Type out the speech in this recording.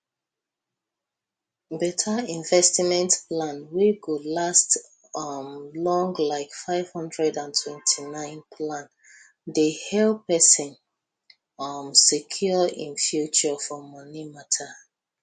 beta investment plan wey go last um long like 529 plan dey help pesin um secure im future for moni mata